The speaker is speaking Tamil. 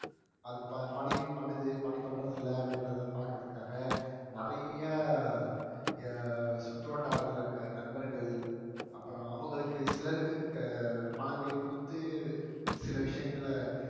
அது ப~ பணி பண்ணுது பணி பண்றதில்லை அப்படின்றதை பார்க்கிறதுக்காக நிறைய அஹ் சுற்றுவட்டாரத்திலே இருக்கிற நண்பர்கள் அப்புறம் அவங்களுக்கு சிலருக்கு ~க்கு பணங்களை கொடுத்து சில விஷயங்கள